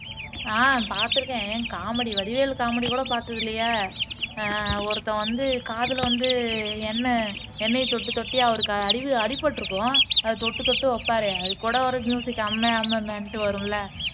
ஆஹ் பாத்துருக்கேன்ஏன் comedy Vadivelu comedy கூட பாத்தது இல்லையா ஆஹ் ஒருத்தன் வந்து காதுல வந்து எண்ணெய் எண்ணெயை தொட்டு தொட்டியா அவருக்கு அறிவு அடிபட்டிருக்கும் அதை தொட்டு தொட்டு வைப்பாரே அதுகூட ஒரு மியூசிக் அம்ம அம்மன்டு வரும் இல்ல